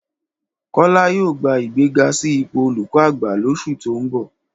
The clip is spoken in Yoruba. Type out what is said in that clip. Kọ́lá yóò gba ìgbéga sí ipò olùkọ́ àgbà lóṣù tó ń bọ̀